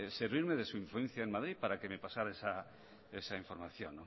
servirme de su influencia en madrid para que me pasara esa información